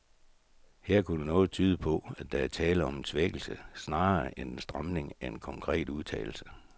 Her kunne noget tyde på, at der er tale om en svækkelse snarere end en stramning af en konkret udtalelse.